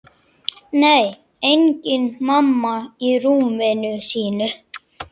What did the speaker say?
Nei, engin mamma í rúminu sínu.